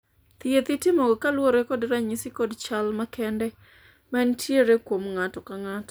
thieth itimoga koluwore kod ranyisi kod chal makende ma nitiere kuom ng'ato ka ng'ato